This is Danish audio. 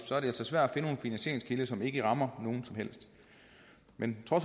så er det altså svært at finde finansieringskilder som ikke rammer nogen som helst men